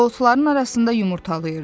O otların arasında yumurtlayırdı.